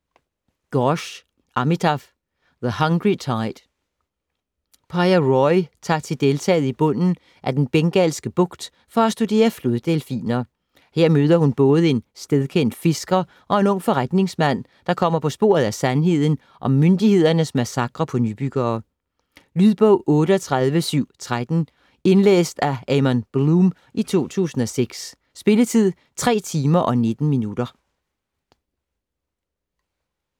Ghosh, Amitav: The hungry tide Piya Roy tager til deltaet i bunden af den bengalske bugt for at studere floddelfiner. Her møder hun både en stedkendt fisker og en ung forretningsmand, der kommer på sporet af sandheden om myndighedernes massakre på nybyggere. Lydbog 38713 Indlæst af Aman Bloom, 2006. Spilletid: 3 timer, 19 minutter.